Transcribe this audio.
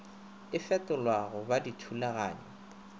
e fetolwa go ba dithulaganyo